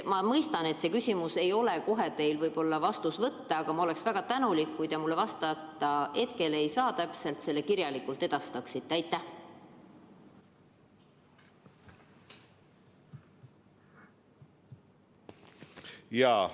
Ma mõistan, et see vastus ei ole teil kohe varnast võtta, aga ma oleksin väga tänulik, kui te selle mulle kirjalikult saadaksite, kui te hetkel täpselt vastata ei saa.